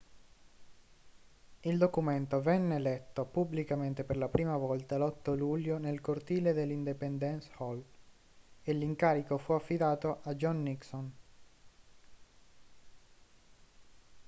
il documento venne letto pubblicamente per la prima volta l'8 luglio nel cortile dell'independence hall e l'incarico fu affidato a john nixon